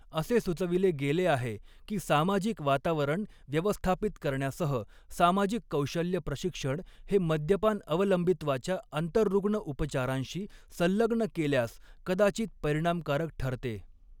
असे सुचविले गेले आहे की सामाजिक वातावरण व्यवस्थापित करण्यासह, सामाजिक कौशल्य प्रशिक्षण हे मद्यपान अवलंबित्वाच्या आंतररुग्ण उपचारांशी संलग्न केल्यास कदाचित परिणामकारक ठरते.